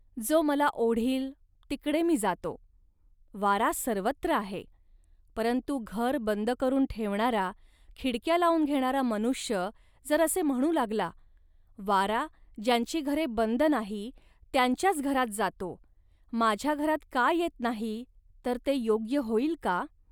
जो मला ओढील, तिकडे मी जातो. वारा सर्वत्र आहे, परंतु घर बंद करून ठेवणारा, खिडक्या लावून घेणारा मनुष्य जर असे म्हणू लागला, वारा ज्यांची घरे बंद नाही, त्यांच्याच घरात जातो, माझ्या घरात का येत नाही, तर ते योग्य होईल का